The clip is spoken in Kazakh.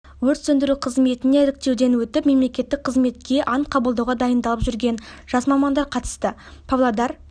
өрт сөндіру қызметіне іріктеуден өтіп мемлекеттік қызметке ант қабылдауға дайындалып жүрген жас мамандар қатысты павлодар